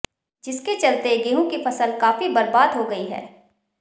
जिसके चलते गेंहु की फसल काफी बरबाद हो गई है